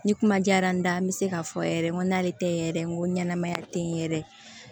Ni kuma diyara n ye an bɛ se k'a fɔ yɛrɛ n ko n'ale tɛ yɛrɛ n ko ɲɛnɛmaya tɛ yɛrɛ